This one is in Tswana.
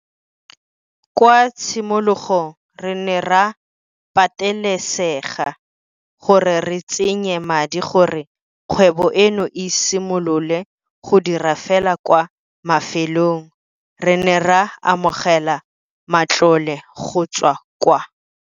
Kwa tshimologong re ne ra patelesega gore re tsenye madi gore kgwebo eno e simolole go dira fela kwa bofelong re ne ra amogela matlole go tswa kwa.